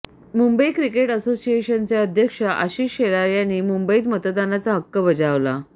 Mumbai cricket असोसिएशनचे अध्यक्ष आशिष शेलार यांनी मुंबईत मतदानाचा हक्क बजावला